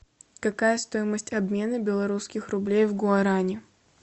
какая стоимость обмена белорусских рублей в гуарани